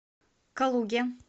калуге